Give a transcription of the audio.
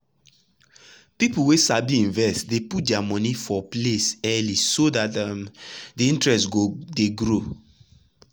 people wey sabi invest dey put their monie for many place early so dat um de interest go dey grow.